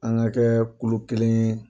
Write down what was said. An ka kɛ kulu kelen ye.